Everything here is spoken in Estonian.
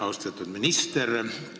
Austatud minister!